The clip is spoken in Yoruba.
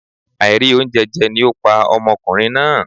Àìrí oúnjẹ jẹ ni ó pa ọmọkùnrin náà